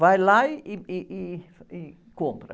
Vai lá, ih, ih, ih, e compra.